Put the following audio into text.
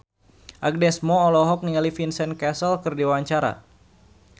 Agnes Mo olohok ningali Vincent Cassel keur diwawancara